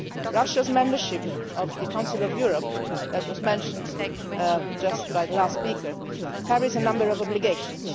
Russia's membership of the Council of Europe, which was mentioned by the last speaker, carries a number of obligations.